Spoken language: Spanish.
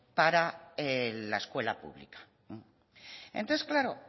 para la escuela pública entonces claro